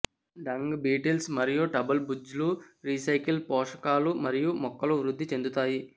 dung beetles మరియు టబుల్ బుజ్లు రీసైకిల్ పోషకాలు మరియు మొక్కలు వృద్ధి చెందుతాయి